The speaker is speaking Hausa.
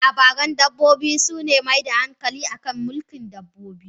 Labaran dabbobi, suna mai da hankali akan mulkin dabbobi.